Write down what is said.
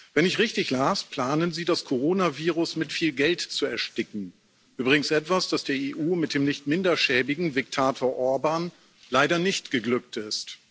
Wenn ich richtig las, planen Sie, das Corona Virus mit viel Geld zu ersticken übrigens etwas, das der EU mit dem nicht minder schäbigen Diktator Orbán leider nicht geglückt ist.